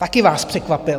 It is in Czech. Taky vás překvapil.